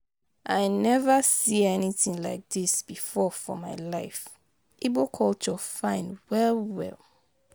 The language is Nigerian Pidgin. I never see anything like dis before for my life. Igbo culture fine well well